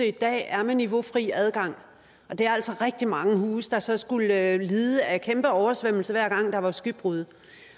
i dag er med niveaufri adgang og det er altså rigtig mange huse der så skulle lide af kæmpe oversvømmelser hver gang der var skybrud